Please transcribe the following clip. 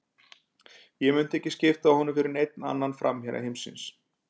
Ég myndi ekki skipta honum fyrir neinn annan framherja heimsins.